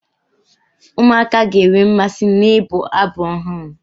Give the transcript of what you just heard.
Ụmụaka ga-enwe mmasị n'ịbụ abụ ọhụrụ.